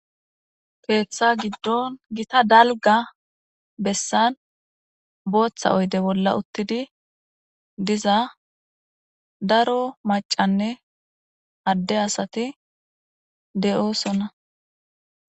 keeththa giddon gita dalgga bessan booththa oyde bolla uttidi diza daro macanne adde asati de'oosona